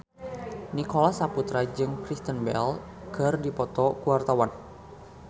Nicholas Saputra jeung Kristen Bell keur dipoto ku wartawan